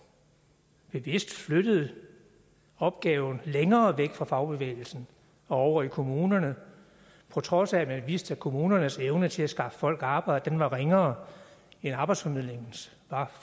bevidst flyttede opgaven længere væk fra fagbevægelsen og over i kommunerne på trods af at man vidste at kommunernes evne til at skaffe folk arbejde var ringere end arbejdsformidlingens